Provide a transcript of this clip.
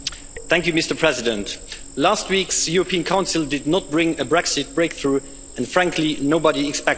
Mr President, last week's European Council did not bring a Brexit breakthrough, and frankly nobody expected it.